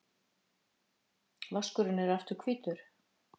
Vaskurinn er aftur hvítur.